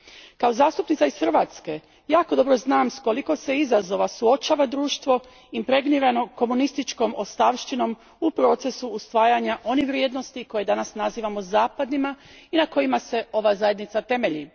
Kao zastupnica iz Hrvatske jako dobro znam s koliko se izazova suočava društvo, impregniranom komunističkom ostavštinom u procesu usvajanja onih vrijednosti koje danas nazivamo zapadnima i na kojima se ova Zajednica temelji.